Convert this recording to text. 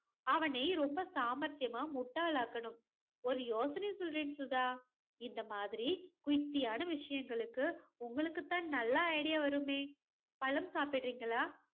அவனை ரொம்ப சாமர்த்தியமா முட்டாளாக்கணும். ஒரு யோசனை சொல்றேன் சுதா. இந்த மாதிரியான யுக்தியான விஷயங்களுக்கு உங்களுக்கு தான் நல்ல ஐடியா வருமே பழம் சாப்பிடுறீங்களா